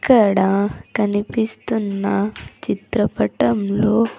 ఇక్కడ కనిపిస్తున్న చిత్రపటంలో--